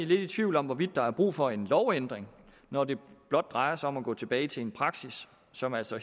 lidt i tvivl om hvorvidt der er brug for en lovændring når det blot drejer sig om at gå tilbage til en praksis som altså